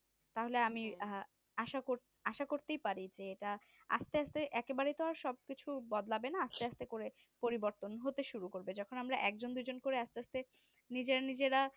তাহলে আমি আহঃ আশা কর আশা করতেই পারি যে এটা আস্তে আস্তে একেবারে তো আর সবকিছু আর বদলাবেনা আস্তে আস্তে করে পরিবতন হতে শুরু করবে যখন আমরা একজন দুজন করে আস্তে আস্তে নিজের নিজেরা